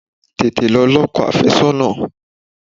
Tètè lọ ní ọkọ àfẹ́sọ́nà!